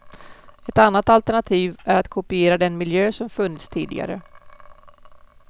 Ett annat alternativ är att kopiera den miljö som funnits tidigare.